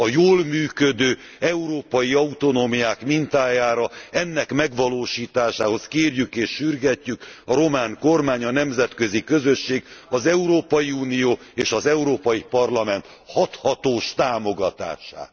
A jól működő európai autonómiák mintájára ennek megvalósításához kérjük és sürgetjük a román kormány, a nemzetközi közösség, az Európai Unió és az Európai Parlament hathatós támogatását.